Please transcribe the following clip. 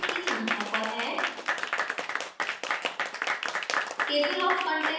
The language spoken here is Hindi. यह compilations की संख्या पर है